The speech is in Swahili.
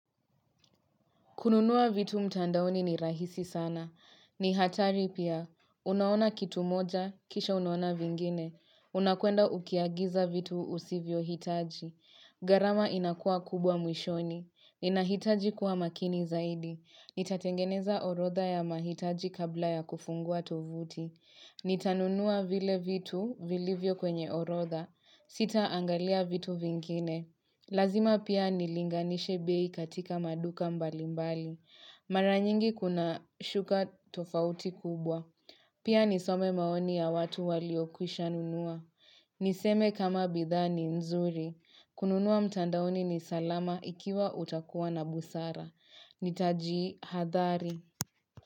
Kununua vitu mtandaoni ni rahisi sana. Ni hatari pia. Unaona kitu moja, kisha unaona vingine. Unakwenda ukiagiza vitu usivyohitaji. Gharama inakua kubwa mwishoni. Inahitaji kuwa makini zaidi. Nitatengeneza orodha ya mahitaji kabla ya kufungua tovuti. Nitanunua vile vitu, vilivyo kwenye orodha. Sitaangalia vitu vingine. Lazima pia nilinganishe bei katika maduka mbalimbali. Mara nyingi kuna shuka tofauti kubwa. Pia nisome maoni ya watu waliokwisha nunua. Niseme kama bidhaa ni nzuri. Kununua mtandaoni ni salama ikiwa utakuwa na busara. Nitajihadhari.